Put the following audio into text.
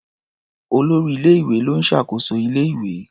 Olórí ilé-ìwé ló ń ṣàkóso ilé-ìwé.